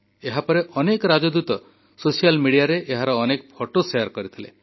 ଏହାପରେ ରାଷ୍ଟ୍ରଦୂତମାନେ ସୋସିଆଲ ମିଡିଆରେ ଏହାର ବହୁ ଫଟୋ ଶେୟାର କରିଥିଲେ